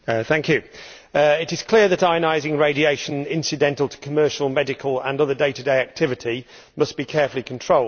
Madam President, it is clear that ionising radiation incidental to commercial, medical and other day to day activities must be carefully controlled.